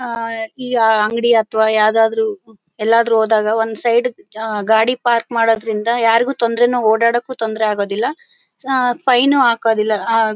ಹ ಈಗ ಅಂಗಡಿ ಅಥವಾ ಯಾವುದಾದರು ಎಲ್ಲಾದ್ರೂ ಹೋದಾಗ ಒಂದು ಸೈಡ್ ಗೆ ಗಾಡಿ ಪಾರ್ಕ್ ಮಾಡೋದ್ರಿಂದಾಸ್ ಯಾರಿಗೂ ತೊಂದರೆನು ಓಡಾಡೋಕು ತೊಂದರೇ ಆಗೋದಿಲ್ಲ ಹಾ ಫೈನ್ ಹಾಕೋದಿಲ್ಲ ಆ--